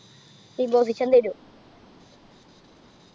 imposition തരും